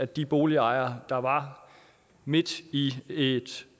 de boligejere der var midt i et